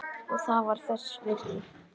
Og það var þess virði.